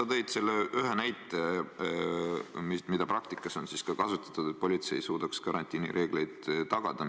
No sa tõid selle ühe näite, mida praktikas on ka kasutatud, et politsei suudaks karantiinireegleid tagada.